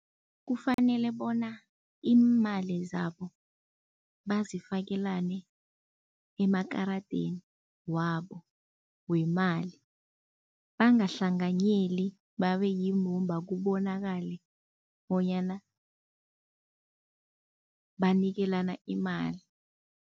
Kufanele bona iimali zabo bazifakelane emakaradeni wabo wemali. Bangahlanganyeli, babe yimbumba kubonakale bonyana banikelana imali.